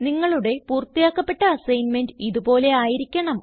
നിങ്ങളുടെ പൂർത്തിയാക്കപ്പെട്ട അസൈൻമെന്റ് ഇത് പോലെ ആയിരിക്കണം